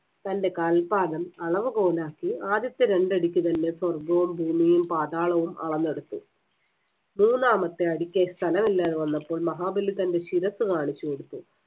തന്‍റെ കാൽപാദം അളവുകോലാക്കി ആദ്യത്തെ രണ്ടടിക്ക് തന്നെ സ്വർഗവും, ഭൂമിയും, പാതാളവും അളന്നെടുത്തു. മൂന്നാമത്തെ അടിക്ക് സ്ഥലമില്ലാതെ വന്നപ്പോൾ മഹാബലി തന്‍റെ ശിരസ്സ് കാണിച്ച് കൊടുത്തു.